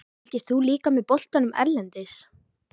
Fylgist þú líka með boltanum erlendis?